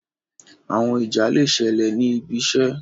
Àwọn ìjà le ṣẹlẹ ní ibì iṣé